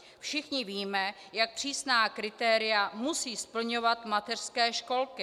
Všichni víme, jak přísná kritéria musí splňovat mateřské školky.